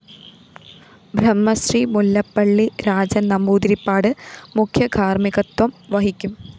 ബ്രഹ്മശ്രീ മുല്ലപ്പള്ളി രാജന്‍ നമ്പൂതിരിപ്പാട് മുഖ്യ കാര്‍മ്മികത്വം വഹിക്കും